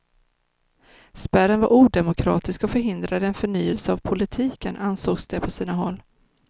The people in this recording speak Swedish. Spärren var odemokratisk och förhindrade en förnyelse av politiken, ansågs det på sina håll.